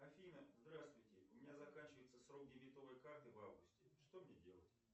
афина здравствуйте у меня заканчивается срок дебетовой карты в августе что мне делать